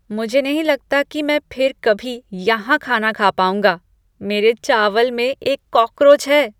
मुझे नहीं लगता कि मैं फिर कभी यहाँ खाना खा पाउंगा, मेरे चावल में एक कॉकरोच है।